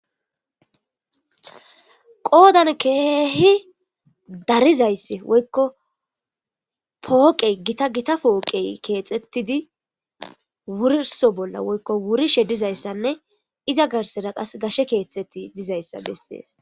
Qodan kehi darizayisi woyikko poqe gita gita poqe kexxetidi wuriso bola woyikko wurishe dizayisanne iza garsara qase gashe keeththati dizayisa beses.